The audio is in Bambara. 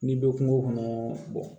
N'i bɛ kungo kɔnɔ